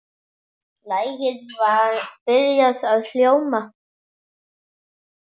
Lagið var byrjað að hljóma.